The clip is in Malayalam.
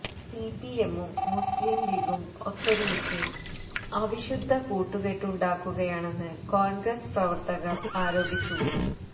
സി പി എമ്മും മുസ്ലിം ലീഗും ഒത്തൊരുമിച്ച് അവിശുദ്ധ കൂട്ടുകെട്ടുണ്ടാക്കുകയാണെന്ന് കോണ്ഗ്രസ് പ്രവര്ത്തകര് ആരോപിച്ചു